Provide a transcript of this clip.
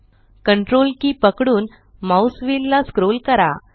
CTRLकी पकडून mouse wheel ला scroll करा